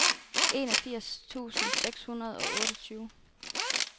enogfirs tusind seks hundrede og otteogtyve